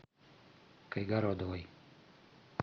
кайгородовой